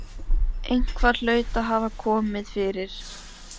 Eitthvað hlaut að hafa komið fyrir.